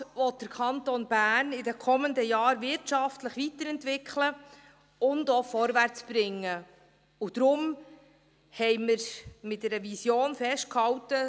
Der Regierungsrat will den Kanton Bern in den kommenden Jahren wirtschaftlich weiterentwickeln und auch vorwärtsbringen, und darum haben wir das Engagement 2030 mit einer Vision festgehalten.